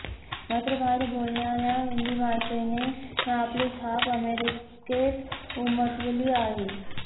मात्र भारतात बोलणाऱ्या हिंदी भाषेने आपली छाप अमेरिकेत उमटवली आहे